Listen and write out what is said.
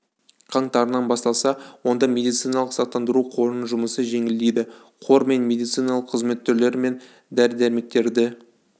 қаңтарынан басталса онда медициналық сақтандыру қорының жұмысы жеңілдейді қор мен медициналық қызмет түрлері мен дәрі-дәрмектерді